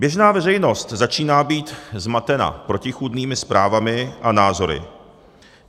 Běžná veřejnost začíná být zmatena protichůdnými zprávami a názory.